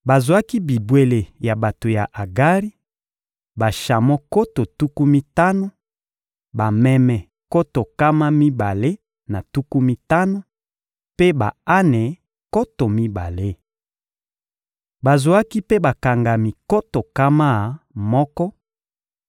Bazwaki bibwele ya bato ya Agari: bashamo nkoto tuku mitano, bameme nkoto nkama mibale na tuku mitano, mpe ba-ane nkoto mibale. Bazwaki mpe bakangami nkoto nkama moko: